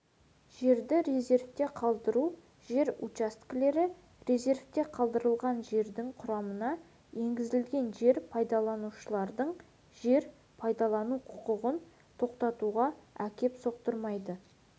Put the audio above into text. жерді резервте қалдыру жер учаскелері резервте қалдырылған жердің құрамына енгізілген жер пайдаланушылардың жер пайдалану құқығын тоқтатуға әкеп соқтырмайды